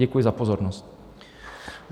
Děkuji za pozornost.